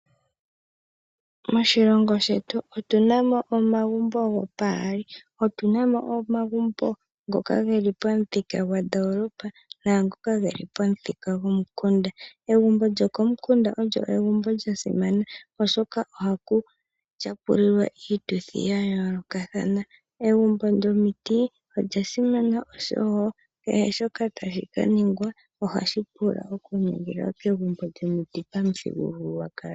Moshilongo shetu otu na mo omagumbo gopaali ngaashi omagumbo ngoka ge li pamuthikagwandolopa naangoka ge li pamuthikagomukunda. Egumbo lyokomukunda olyo egumbo lya simana oshoka ohaku tyapupulilwa iituthi ya yoolokathana. Egumbo lyomiti olya simana wo oshoka kehe shoka tashi ka ningwa ohashi pulwa okuningilwa kegumbo lyomiti pamuthigululwakalo.